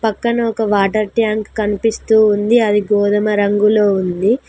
పక్కన ఒక water tank కనిపిస్తూ ఉంది అది గోధుమ రంగులో ఉంది.